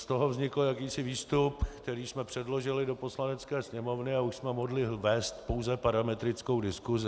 Z toho vznikl jakýsi výstup, který jsme předložili do Poslanecké sněmovny, a už jsme mohli vést pouze parametrickou diskusi.